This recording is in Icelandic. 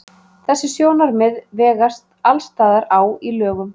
Þessi sjónarmið vegast alls staðar á í lögum.